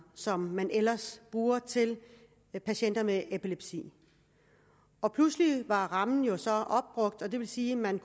som man ellers bruger til patienter med epilepsi og pludselig var rammen jo så opbrugt og det vil sige at man